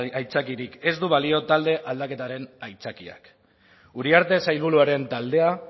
aitzakiarik ez du balio talde aldaketaren aitzakiak uriarte sailburuaren taldea